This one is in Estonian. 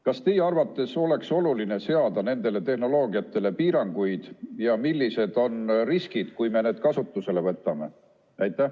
Kas teie arvates oleks oluline seada nendele tehnoloogiatele piiranguid ja millised on riskid, kui me need kasutusele võtame?